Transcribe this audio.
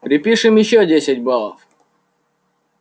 припишем ещё десять баллов